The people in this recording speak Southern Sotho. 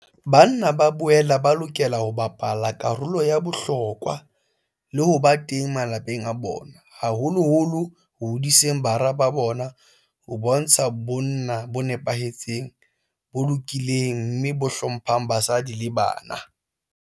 Banna ba boela ba lokela ho bapala karolo ya bohlokwa le ho ba teng malapeng a bona, haholoholo ho hodiseng bara ba bona ho bontsha bonna bo nepahetseng, bo lokileng mme bo hlo mphang basadi le bana.